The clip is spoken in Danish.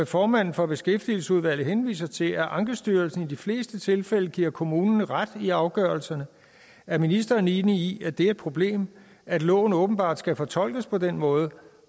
formanden for beskæftigelsesudvalget henviser til at ankestyrelsen i de fleste tilfælde giver kommunen ret i afgørelserne er ministeren enig i at det er et problem at loven åbenbart skal fortolkes på den måde